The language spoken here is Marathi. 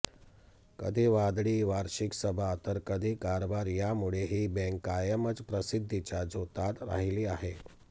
कधी वादळी वार्षिक सभा तर कधी कारभार यामुळे ही बँक कायमच प्रसिद्धीच्या झोतात राहिली आहे